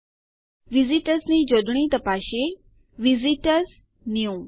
ચાલો વિઝીટર્સની જોડણી તપાસીએ visit ઓઆરએસ ન્યૂ